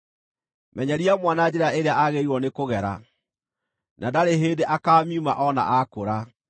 Menyeria mwana njĩra ĩrĩa agĩrĩirwo nĩkũgera, na ndarĩ hĩndĩ akaamiuma o na aakũra.